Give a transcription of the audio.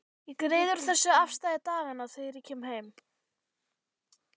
Ég greiði úr þessu afstæði daganna þegar ég kem heim.